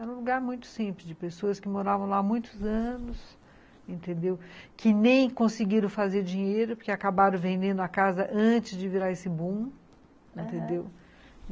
Era um lugar muito simples, de pessoas que moravam lá há muitos anos, entendeu? que nem conseguiram fazer dinheiro, porque acabaram vendendo a casa antes de virar esse boom, entendeu, aham.